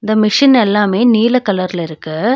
இந்த மிஷின் எல்லாமே நீல கலர்ல இருக்கு.